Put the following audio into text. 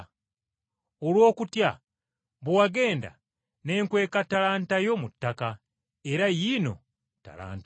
Olw’okutya bwe wagenda ne nkweka ttalanta yo mu ttaka era yiino ttalanta yo.’